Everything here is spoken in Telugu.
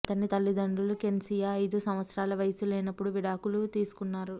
అతని తల్లిదండ్రులు క్సేనియా ఐదు సంవత్సరాల వయస్సు లేనప్పుడు విడాకులు తీసుకున్నారు